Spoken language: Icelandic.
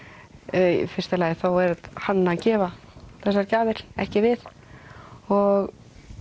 í fyrsta lagi er hann að gefa þessar gjafir ekki við og